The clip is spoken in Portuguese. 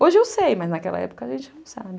Hoje eu sei, mas naquela época a gente não sabe.